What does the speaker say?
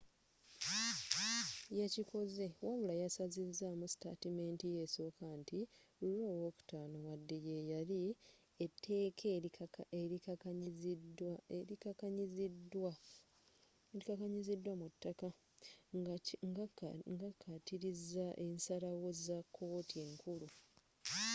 yakikoze wabula yasazizamu sitaatimenti ye esooka nti roe v. wade yeyali etteeka elikakanyizidwa mu ttaka” ngakatiiriza ensaalawo za kkooti enkulu